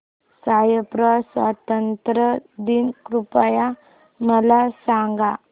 Cyprus स्वातंत्र्य दिन कृपया मला सांगा